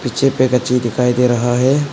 पीछे दिखाई दे रहा है।